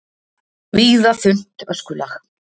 Víða þunnt öskulag